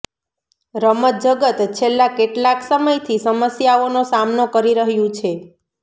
રમત જગત છેલ્લા કેટલાક સમયથી સમસ્યાઓનો સામનો કરી રહ્યુ છે